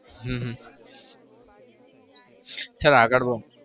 હમ sir આગળ બોલો.